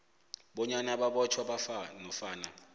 bonyana babotjhwa nofana